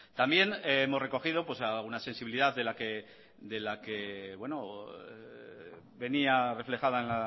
también hemos recogido alguna sensibilidad de la que venía reflejada en